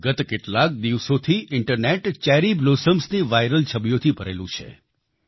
ગત કેટલાક દિવસોથી ઈન્ટરનેટ ચેરી બ્લોસમ્સની વાઈરલ છબીઓથી ભરેલું છે